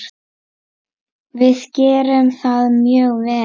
Við gerðum það mjög vel.